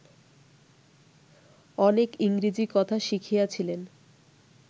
অনেক ইংরাজী কথা শিখিয়াছিলেন